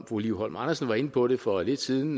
fru liv holm andersen var inde på det for lidt siden